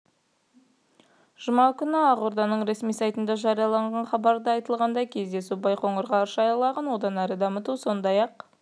жұма күні ақорданың ресми сайтында жарияланған хабарда айтылғандай кездесуде байқоңыр ғарыш айлағын одан әрі дамыту сондай-ақ